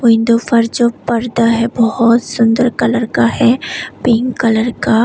Window पर जो पर्दा है बहुत सुंदर कलर का है पिंक कलर का।